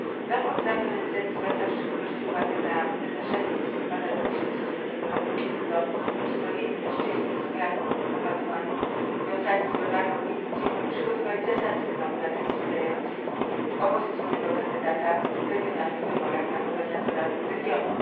Raport Rady ONZ zwraca w szczególności uwagę na wydarzenie z listopada 2009 roku, kiedy to uzbrojeni mężczyźni z klanu Ampatuan, powiązani z lokalną milicją, przygotowali zasadzkę na obywateli wspierających opozycyjnego kandydata w regionalnych wyborach na gubernatora regionu.